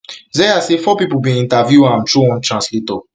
zeya say four pipo bin interview am through one translator